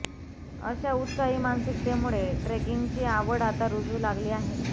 अशा उत्साही मानसिकतेमुळे ट्रेकिंगची आवड आता रुजू लागली आहे